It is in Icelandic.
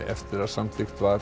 eftir að samþykkt var